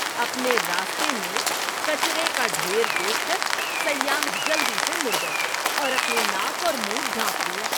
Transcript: اپنے راستے میں کچرے کا ڈھیر دیکھ کر سیاح جلدی سے مڑ گئے اور اپنی ناک اور منہ ڈھانپ لیا۔